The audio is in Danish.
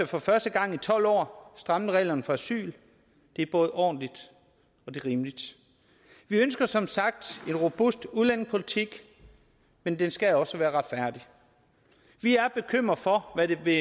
for første gang i tolv år strammet reglerne for asyl det er både ordentligt og rimeligt vi ønsker som sagt en robust udlændingepolitik men den skal også være retfærdigt vi er bekymret for hvad det vil